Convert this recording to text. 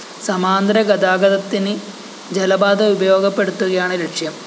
സമാന്തരഗതാഗതത്തിന് ജലപാത ഉപയോഗപ്പെടുത്തുകയാണ് ലക്ഷ്യം